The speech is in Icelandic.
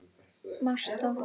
Marta